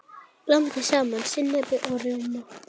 Blandið saman sinnepi og rjóma.